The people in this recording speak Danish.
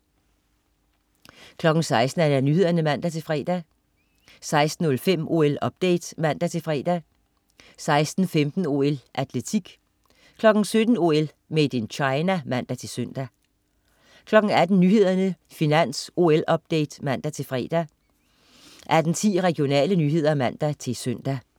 16.00 Nyhederne (man-fre) 16.05 OL-update (man-fre) 16.15 OL: Atletik 17.00 OL: Made in China (man-søn) 18.00 Nyhederne, Finans, OL-update (man-fre) 18.10 Regionale nyheder (man-søn)